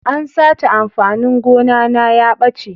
An sace amfanin gona na ya ɓace.